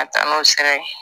Ka taa n'o sira ye